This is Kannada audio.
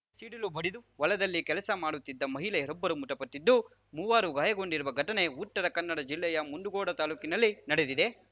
ಸಿಡಿಲು ಬಡಿದು ಹೊಲದಲ್ಲಿ ಕೆಲಸ ಮಾಡುತ್ತಿದ್ದ ಮಹಿಳೆಯೊಬ್ಬರು ಮೃತಪಟ್ಟಿದ್ದು ಮೂವರು ಗಾಯಗೊಂಡಿರುವ ಘಟನೆ ಉತ್ತರ ಕನ್ನಡ ಜಿಲ್ಲೆಯ ಮುಂಡಗೋಡ ತಾಲೂಕಿನಲ್ಲಿ ನಡೆದಿದೆ